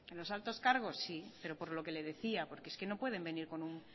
los altos cargos sí pero por lo que le decía porque es que no pueden venir con un